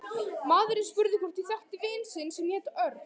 Maðurinn spurði hvort ég þekkti vin sinn sem héti Örn